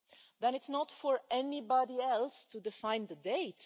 Then it's not for anybody else to define the date